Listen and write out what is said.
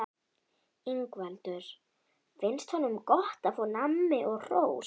Ingveldur: Finnst honum gott að fá nammi og hrós?